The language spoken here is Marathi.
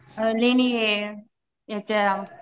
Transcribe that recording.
अ लेणी ये याच्या